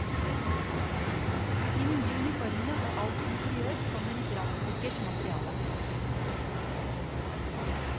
De nye uniformene og alt interiør kommer i brannsikkert materiale.